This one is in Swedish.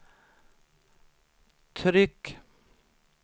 tryck